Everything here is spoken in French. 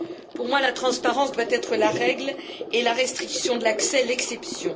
Pour moi, la transparence doit être la règle, et la restriction de l'accès, l'exception.